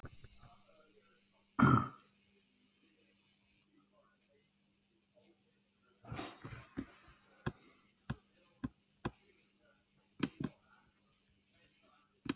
Walter